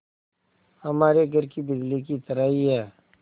हमारे घर की बिजली की तरह ही है